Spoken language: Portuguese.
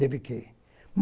Tive que ir.